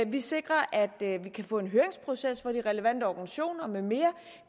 vi sikrer at vi kan få en høringsproces hvor de relevante organisationer med mere